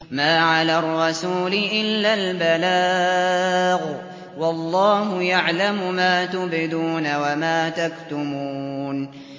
مَّا عَلَى الرَّسُولِ إِلَّا الْبَلَاغُ ۗ وَاللَّهُ يَعْلَمُ مَا تُبْدُونَ وَمَا تَكْتُمُونَ